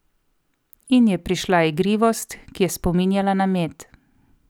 In je prišla igrivost, ki je spominjala na med.